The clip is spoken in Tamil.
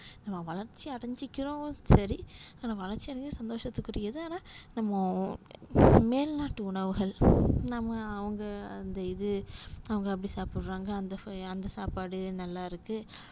நம்ம வளர்ச்சி அடஞ்சுக்கிறோம் சரி அந்த வளர்ச்சியானது சந்தோசத்துக்குரியது ஆனா நம்ம மேல் நாட்டு உணவுகள நம்ம அவங்க அந்த இது அவங்க அப்டி சாப்புர்றாங்க அந்த சோய் அந்த சாப்பாடு நல்லா இருக்கு